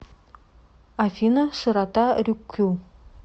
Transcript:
афина широта рюкю